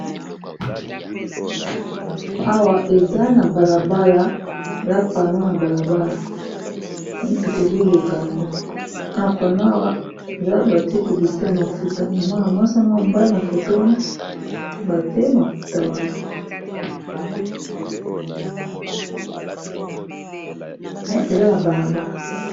Awa eza na bala bala mwa pano na balabala mituke ezoleka nango ka pano awa eza batie publicite ya mafuta ya mwana mwasi na mwana mobali na foto wana batie mafuta wana mais eza na balabala.